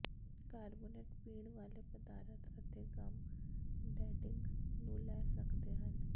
carbonated ਪੀਣ ਵਾਲੇ ਪਦਾਰਥ ਅਤੇ ਗੱਮ ਡੈਡਿੰਗ ਨੂੰ ਲੈ ਸਕਦੇ ਹਨ